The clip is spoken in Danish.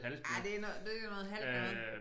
Ja det noget det noget halvt noget